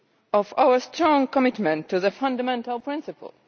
of our strong commitment to the fundamental principle.